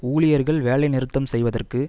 ஊழியர்கள் வேலை நிறுத்தம் செய்வதற்கு